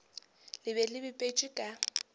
le be le bipetšwe ka